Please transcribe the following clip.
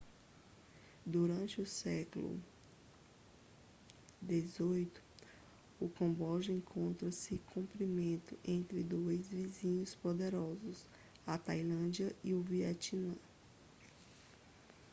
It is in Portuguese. durante o século xviii o camboja encontrou-se comprimido entre dois vizinhos poderosos a tailândia e o vietnã